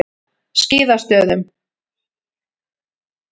Skíðastöðum